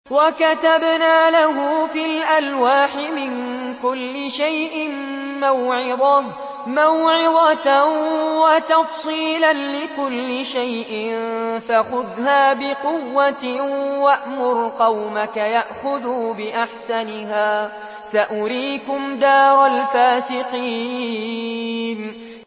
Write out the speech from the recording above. وَكَتَبْنَا لَهُ فِي الْأَلْوَاحِ مِن كُلِّ شَيْءٍ مَّوْعِظَةً وَتَفْصِيلًا لِّكُلِّ شَيْءٍ فَخُذْهَا بِقُوَّةٍ وَأْمُرْ قَوْمَكَ يَأْخُذُوا بِأَحْسَنِهَا ۚ سَأُرِيكُمْ دَارَ الْفَاسِقِينَ